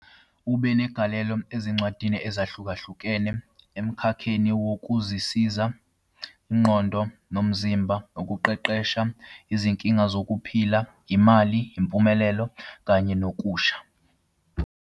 Ube negalelo ezincwadini ezahlukahlukene emkhakheni wokuzisiza, ingqondo nomzimba, ukuqeqesha, izinkinga zokuphila, imali, impumelelo, kanye nokusha.